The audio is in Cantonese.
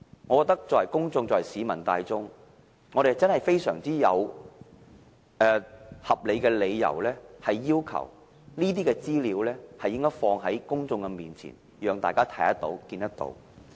我認為市民大眾真的有非常合理的理由，要求當局把這些資料放在公眾面前，讓大家看得到。